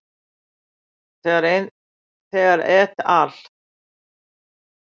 Þegar et al.